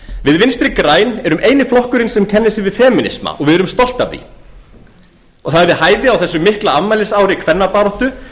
við vinstri græn erum eini flokkurinn sem kennir sig við femínisma og við erum stolt af því og það er við hæfi á þessu mikla afmælisári kvennabaráttu